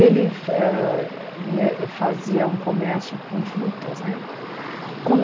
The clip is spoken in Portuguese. Ele ah hm eh fazia um comércio com frutas né. E como